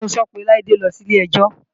Funso pe Laide lọ sí ilé-ẹjọ́